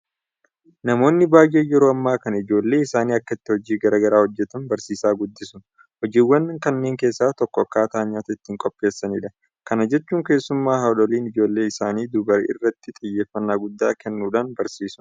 Namoonni baay'een yeroo ammaa kana ijoollee isaanii akkatti hojii garaa garaa hojjetan barsiisaa guddisu. Hojiiwwan kanneen keessaa tokko akkaataa nyaata ittiin qopheessanidha. Kana jechuun keessumaa haadholiin ijoollee isaanii dubaraa irratti xiyyeeffannaa guddaa kennuudhaan barsiisu.